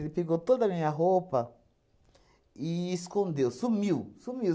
Ele pegou toda a minha roupa e escondeu, sumiu, sumiu.